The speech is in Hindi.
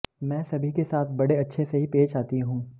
मैं सभी के साथ बड़े अच्छे से ही पेश आती हूं